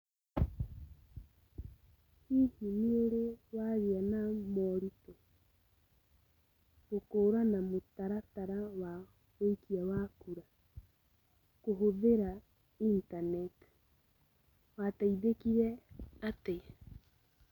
Read prompt question only